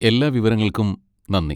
എല്ലാ വിവരങ്ങൾക്കും നന്ദി.